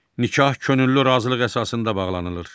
Nikah könüllü razılıq əsasında bağlanılır.